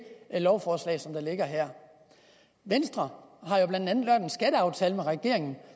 lovforslag som ligger her venstre har jo blandt andet lavet en skatteaftale med regeringen